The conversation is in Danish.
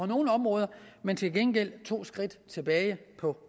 nogle områder men til gengæld to skridt tilbage på